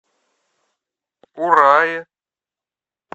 урае